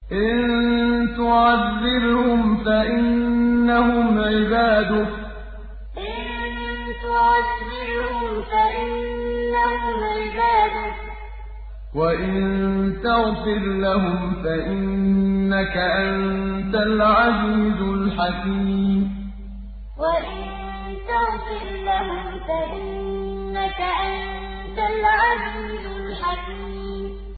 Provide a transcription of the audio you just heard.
إِن تُعَذِّبْهُمْ فَإِنَّهُمْ عِبَادُكَ ۖ وَإِن تَغْفِرْ لَهُمْ فَإِنَّكَ أَنتَ الْعَزِيزُ الْحَكِيمُ إِن تُعَذِّبْهُمْ فَإِنَّهُمْ عِبَادُكَ ۖ وَإِن تَغْفِرْ لَهُمْ فَإِنَّكَ أَنتَ الْعَزِيزُ الْحَكِيمُ